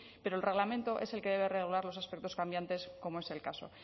pero el reglamento es el que debe reglar los aspectos cambiantes como es el caso